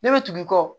Ne bɛ tugu i kɔ